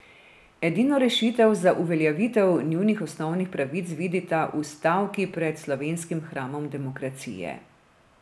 Edino rešitev za uveljavitev njunih osnovnih pravic vidita v stavki pred slovenskim hramom demokracije.